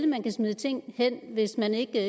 man kan smide ting hen hvis man ikke